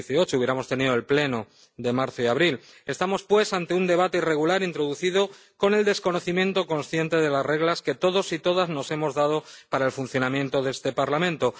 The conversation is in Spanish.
2018 hubiéramos tenido los Plenos de marzo y abril. Estamos, pues, ante un debate irregular introducido con el desconocimiento consciente de las reglas que todos y todas nos hemos dado para el funcionamiento de este Parlamento.